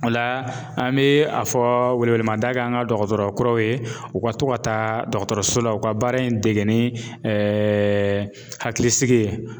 O la an bɛ a fɔ welewelemada kɛ an ka dɔgɔtɔrɔ kuraw ye u ka to ka taa dɔgɔtɔrɔso la u ka baara in dege ni hakilisigi ye.